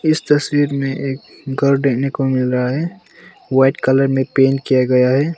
इस तस्वीर में एक घर देखने को मिल रहा है व्हाइट कलर में पेंट किया गया है।